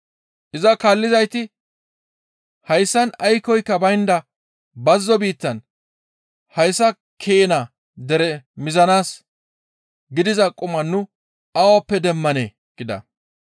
Iza kaallizayti, «Hayssan aykkoyka baynda bazzo biittan hayssa keena dere mizanaas gidiza quma nu awappe demmanee?» gida.